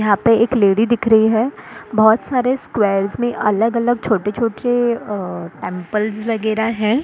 यहाँ पे एक लेडी दिख रही हैं बहुत सारे स्क्वायर्स में अलग-अलग छोटे-छोटे अ टेंपल्स वगैरह हैं ।